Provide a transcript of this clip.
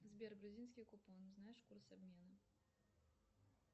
сбер грузинский купон знаешь курс обмена